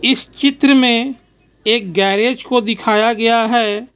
इस चित्र में एक गेरेज को दिखाया गया है.